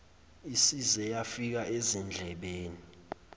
isize yafika ezindlebeni